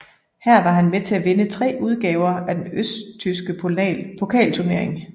Her var han med til at vinde tre udgaver af den østtyske pokalturnering